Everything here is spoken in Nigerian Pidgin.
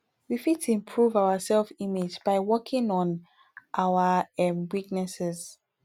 we fit improve our self image by working on our um weaknesses